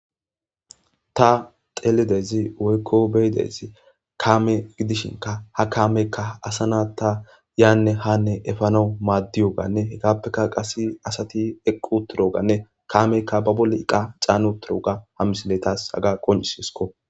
ta telidezi woykko beyidezi kaame gidishinka ha kaameykka asana ta yaanne hanne efano maaddiyoganne hegappeka qase asati eqqu turoganne kaameykka ba bolle iqa caanu turoga ha misiletas haga qoncis yhesko